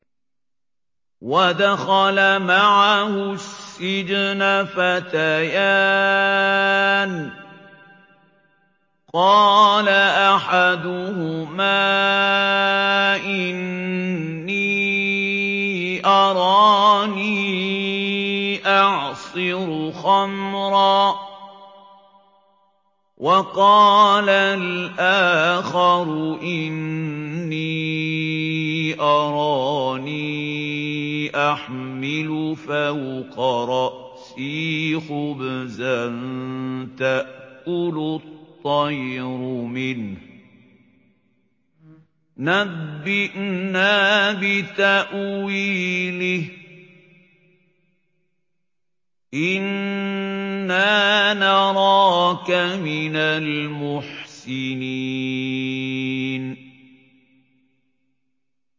وَدَخَلَ مَعَهُ السِّجْنَ فَتَيَانِ ۖ قَالَ أَحَدُهُمَا إِنِّي أَرَانِي أَعْصِرُ خَمْرًا ۖ وَقَالَ الْآخَرُ إِنِّي أَرَانِي أَحْمِلُ فَوْقَ رَأْسِي خُبْزًا تَأْكُلُ الطَّيْرُ مِنْهُ ۖ نَبِّئْنَا بِتَأْوِيلِهِ ۖ إِنَّا نَرَاكَ مِنَ الْمُحْسِنِينَ